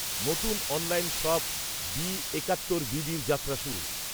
নতুন online shop B একাত্তর বিডির যাত্রা শুরু।